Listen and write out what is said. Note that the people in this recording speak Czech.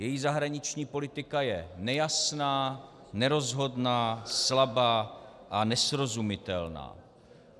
Její zahraniční politika je nejasná, nerozhodná, slabá a nesrozumitelná.